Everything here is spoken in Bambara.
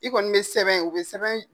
I kɔni be sɛbɛn ye, u be sɛbɛn